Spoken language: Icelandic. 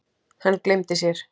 Hann gleymdi sér.